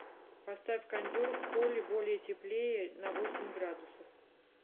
поставь кондер в холле более теплее на восемь градусов